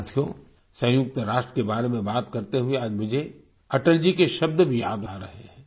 साथियो सयुंक्त राष्ट्र के बारे में बात करते हुए आज मुझे अटल जी के शब्द भी याद आ रहे हैं